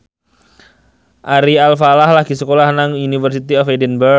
Ari Alfalah lagi sekolah nang University of Edinburgh